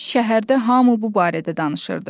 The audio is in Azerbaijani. Şəhərdə hamı bu barədə danışırdı.